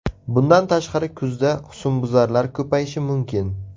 Bundan tashqari kuzda husnbuzarlar ko‘payishi mumkin.